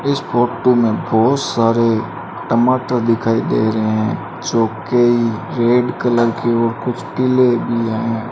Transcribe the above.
इस फोटो में बहोत सारे टमाटर दिखाई दे रहें जो कई रेड कलर की और कुछ पीले भी हैं।